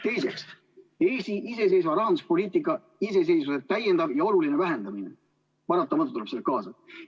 Teiseks, Eesti rahanduspoliitika iseseisvuse täiendav ja oluline vähendamine tuleb paratamatult sellega kaasa.